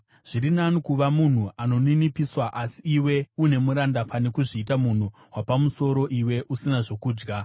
Zviri nani kuva munhu anoninipiswa asi iwe une muranda, pane kuzviita munhu wapamusoro iwe usina zvokudya.